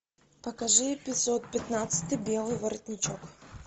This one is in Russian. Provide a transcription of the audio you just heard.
покажи эпизод пятнадцатый белый воротничок